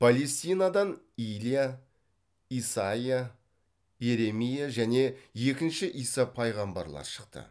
палестинадан илия исайя иеремия және екінші иса пайғамбарлар шықты